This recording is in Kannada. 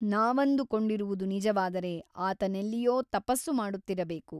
ನಾವಂದುಕೊಂಡಿರುವುದು ನಿಜವಾದರೆ ಆತನೆಲ್ಲಿಯೋ ತಪಸ್ಸು ಮಾಡುತ್ತಿರಬೇಕು.